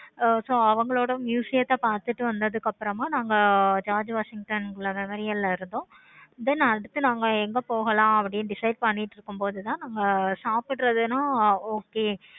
so அவங்களோட museum பார்த்துட்டு வந்ததுக்கு அப்பறமா நாங்க george washington memorial ஆஹ் இருந்தோம். then அடுத்து நாங்க எங்க போகலாம் decide பண்ணிட்டு இருக்கு போது தான் நம்ம சாப்பிடுற வென okay